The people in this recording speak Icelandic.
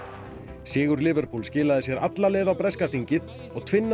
sigur Liverpool skilaði sér alla leið á breska þingið og